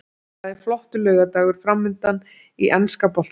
Það er flottur laugardagur framundan í enska boltanum.